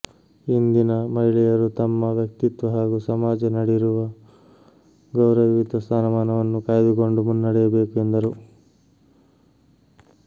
ಇಂದಿನ ಮಹಿಳೆಯರು ತಮ್ಮ ವ್ಯಕ್ತಿತ್ವ ಹಾಗೂ ಸಮಾಜ ನಡಿರುವ ಗೌರವಯುತ ಸ್ಥಾನಮಾನವನ್ನು ಕಾಯ್ದುಕೊಂಡು ಮುನ್ನಡೆಯಬೇಕು ಎಂದರು